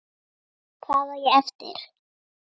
Hvað á ég eftir?